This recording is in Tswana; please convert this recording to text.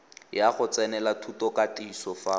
ya go tsenela thutokatiso fa